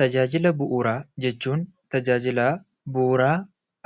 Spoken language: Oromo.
Tajaajila bu'uuraa jechuun tajaajila bu'uuraa